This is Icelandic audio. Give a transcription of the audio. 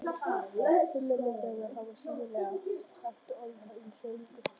Fimmmenningarnir hafa sýnilega haft orð hans að engu.